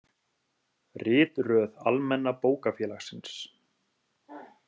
Ritröð Almenna bókafélagsins.